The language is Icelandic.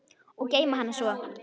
Og geyma hana svo.